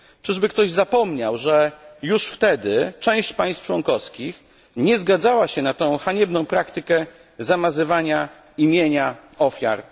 Czyży ktoś zapomniał, że już wtedy część państw członkowskich nie zgadzała się na tę haniebną praktykę zamazywania imienia ofiar?